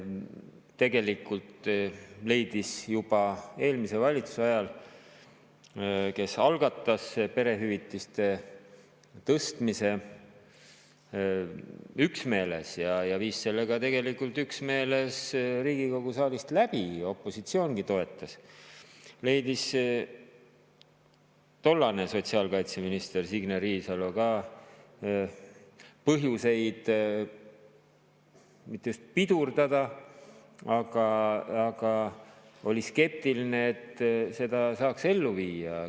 Tegelikult juba eelmise valitsuse ajal – kes algatas perehüvitiste tõstmise üksmeeles ja viis selle ka tegelikult üksmeeles Riigikogu saalist läbi, opositsioongi toetas – leidis tollane sotsiaalkaitseminister Signe Riisalo ka põhjuseid seda mitte just pidurdada, aga olla skeptiline selle elluviimise suhtes.